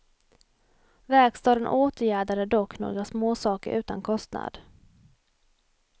Verkstaden åtgärdade dock några småsaker utan kostnad.